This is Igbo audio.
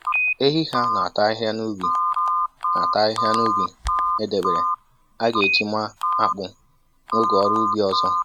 Ehi ha na-ata ahịhịa n'ubi na-ata ahịhịa n'ubi e debere a ga-eji maa akpụ n'oge ọrụ ubi ọzọ.